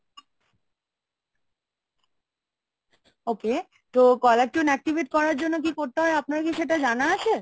Okay তো caller tune activate করার জন্য কি করতে হয় আপনার কি সেটা জানা আছে?